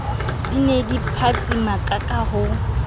di ne di phatsimakaka ho